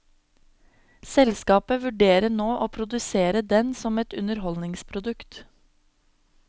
Selskapet vurderer nå å produsere den som et underholdningsprodukt.